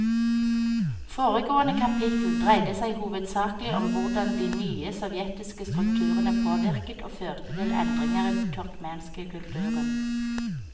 Foregående kapittel dreide seg hovedsakelig om hvordan de nye sovjetiske strukturene påvirket og førte til endringer i den turkmenske kulturen.